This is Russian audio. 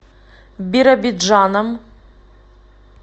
биробиджаном